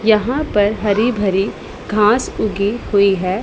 यहां पर हरी भरी घास उगी हुई है।